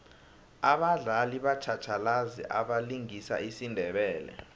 abadlali batjhatjhalazi abalingisa isindebele